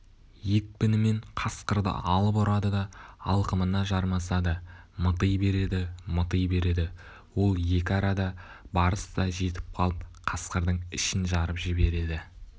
екпінімен қасқырды алып ұрады да алқымына жармасады мыти береді мыти береді ол екі арада барыс та жетіп қалып қасқырдың ішін жарып жібереді